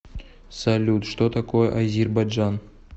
салют что такое азербайджан